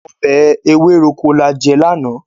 Ọbẹ̀ ewéròkó la jẹ lánàá.